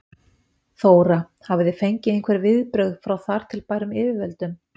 Þóra: Hafið þið fengið einhver viðbrögð frá þar til bærum yfirvöldum?